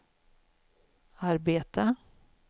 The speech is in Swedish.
arbeta